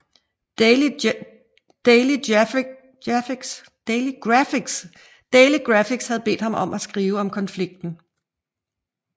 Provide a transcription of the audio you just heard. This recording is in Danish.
Daily Graphic havde bedt ham skrive om konflikten